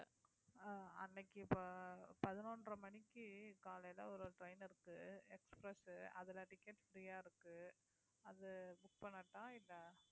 காலையிலே ஒரு ஒரு train இருக்கு express உ அதுல ticket free ஆ இருக்கு அது book பண்ணட்டா இல்ல